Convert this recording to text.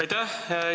Aitäh!